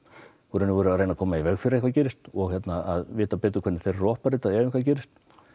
í raun og veru að reyna að koma í veg fyrir að eitthvað gerist og að vita hvernig þeir ef eitthvað gerist